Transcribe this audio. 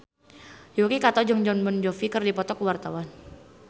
Yuki Kato jeung Jon Bon Jovi keur dipoto ku wartawan